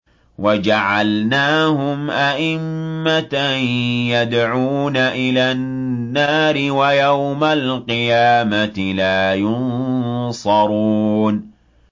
وَجَعَلْنَاهُمْ أَئِمَّةً يَدْعُونَ إِلَى النَّارِ ۖ وَيَوْمَ الْقِيَامَةِ لَا يُنصَرُونَ